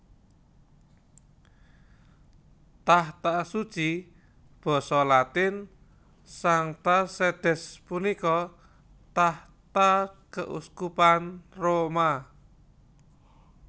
Tahta Suci Basa Latin Sancta Sedes punika tahta keuskupan Roma